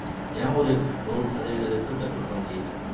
ஏன் ஒரு நூறு சதவீத ரிசல்ட்டை குடுக்க முடியலை